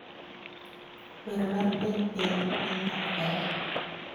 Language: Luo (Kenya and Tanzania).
Wer mar piny piny nin ok ber